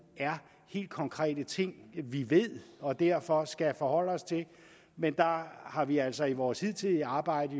er helt konkrete ting vi ved og derfor skal forholde os til men der har vi altså i vores hidtidige arbejde